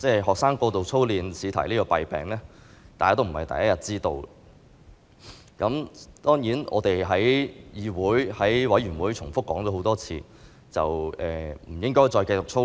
學生過度操練試題的弊病，大家並非第一天知道，當然我們在議會相關委員會上多次指出，不應繼續讓學生操練。